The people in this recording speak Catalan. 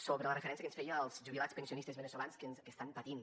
sobre la referència que ens feia als jubilats pensionistes veneçolans que estan patint